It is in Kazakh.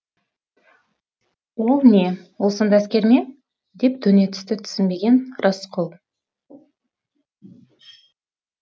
ол не ол сонда әскер ме деп төне түсті түсінбеген рысқұл